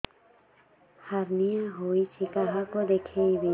hernia ହୋଇଛି କାହାକୁ ଦେଖେଇବି